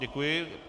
Děkuji.